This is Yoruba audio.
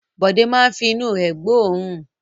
Bọ̀dé máa fi inú rẹ̀ gbóòórùn.